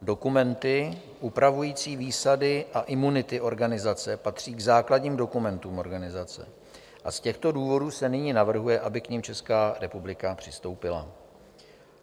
Dokumenty upravující výsady a imunity organizace patří k základním dokumentům organizace a z těchto důvodů se nyní navrhuje, aby k nim Česká republika přistoupila.